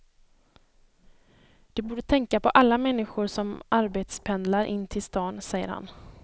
De borde tänka på alla människor som arbetspendlar in till stan, säger han.